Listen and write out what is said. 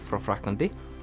frá Frakklandi